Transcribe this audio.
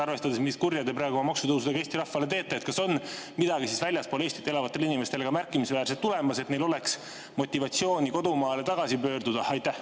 Arvestades, mis kurja te praegu maksutõusudega Eesti rahvale teete, kas on midagi märkimisväärset tulemas ka väljaspool Eestit elavatele inimestele, et neil oleks motivatsiooni kodumaale tagasi pöörduda?